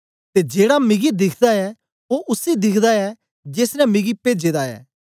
ते जेड़ा मिगी दिखदा ऐ ओ उसी दिखदा ऐ जेस ने मिगी पेजे दा ऐ